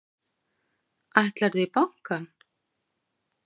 Ætlarðu í bankann?